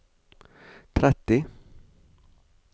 tretti